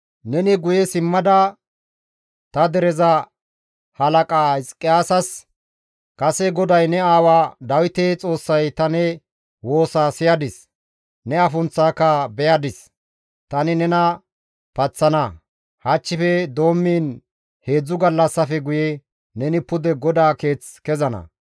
«Neni guye simmada ta dereza halaqa Hizqiyaasas, ‹Kase GODAY ne aawa Dawite Xoossay ta ne woosa siyadis; ne afunththaaka beyadis; tani nena paththana. Hachchife doommiin heedzdzu gallassatafe guye neni pude GODAA Keeth kezana.